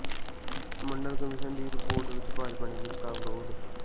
ਮੰਡਲ commission ਦੀ report ਵਿਚ ਭਾਜਪਾ ਨੇ ਵਿਰੋਧ ਕੀਤਾ